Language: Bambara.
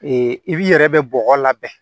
i b'i yɛrɛ bɛ bɔgɔ labɛn